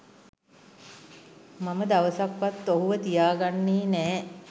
මම දවසක්වත් ඔහුව තියා ගන්නේ නෑ.